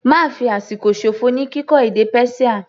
Ma fi àsìkò ṣòfò ní kíkọ́ èdè Persia.